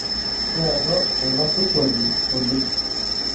Keado ina surkwali oleng.